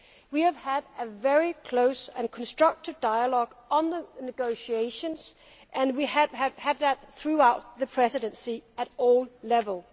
We have had a very close and constructive dialogue on the negotiations, and we have had that throughout the Presidency at all levels.